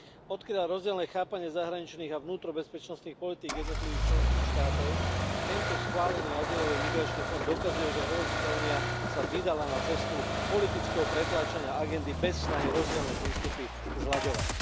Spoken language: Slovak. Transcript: Odkrýva rozdielne chápanie zahraničných a vnútrobezpečnostných politík jednotlivých členských štátov a tento schválený azylový migračný fond dokazuje, že Európska únia sa vydala na cestu politického pretláčania agendy bez snahy rozdielne prístupy zlaďovať.